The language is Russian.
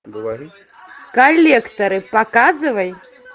коллекторы показывай